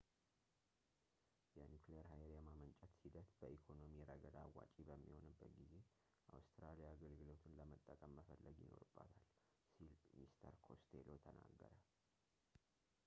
የኒኩሌር ሃይል የማመንጨት ሂደት በኢኮኖሚ ረገድ አዋጪ በሚሆንበት ጊዜ አውስትራሊያ አገልግሎቱን ለመጠቀም መፈለግ ይኖርባታል ሲል mr costello ተናገረ